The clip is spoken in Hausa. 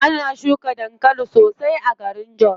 Ana shuka dankali sosai a garin jos.